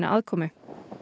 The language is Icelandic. aðkomu